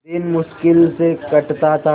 दिन मुश्किल से कटता था